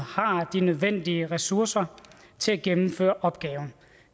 har de nødvendige ressourcer til at gennemføre opgaven